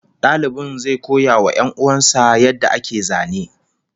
Dalibin zai koya wa 'yan'uwan sa yadda ake zane